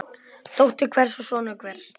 Dóttir hvers og sonur hvers.